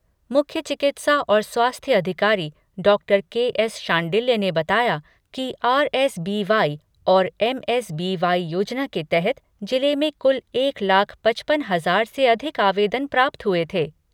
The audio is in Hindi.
मुख्य चिकित्सा और स्वास्थ्य अधिकारी डॉक्टर के. एस शांडिल्य ने बताया कि आरएसबीवाई और एमएसबीवाई योजना के तहत जिले में कुल एक लाख पचपन हजार से अधिक आवेदन प्राप्त हुए थे।